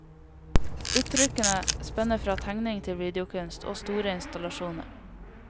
Uttrykkene spenner fra tegning til videokunst og store installasjoner.